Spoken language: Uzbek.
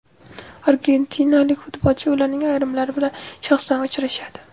Argentinalik futbolchi ularning ayrimlari bilan shaxsan uchrashadi.